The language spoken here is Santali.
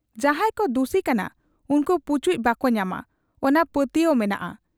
ᱡᱟᱦᱟᱸᱭ ᱠᱚ ᱫᱩᱥᱤ ᱠᱟᱱᱟ ᱩᱱᱠᱩ ᱯᱩᱪᱩᱡ ᱵᱟᱠᱚ ᱧᱟᱢᱟ ᱚᱱᱟ ᱯᱟᱹᱛᱭᱟᱹᱣ ᱢᱮᱱᱟᱜ ᱟ ᱾